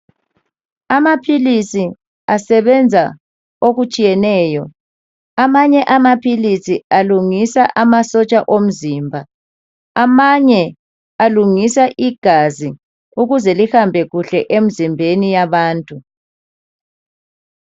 Amaphilisi asebenza okutshiyeneyo, amanye amaphilisi alungisa amasotsha omzimba amanye alungisa igazi ukuze lihambe kuhle emzimbeni yabantu.